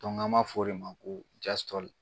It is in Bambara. Dɔnku an b'a f'o de ma ko jasitɔli